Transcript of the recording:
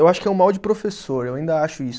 Eu acho que é um mal de professor, eu ainda acho isso.